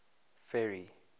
ferry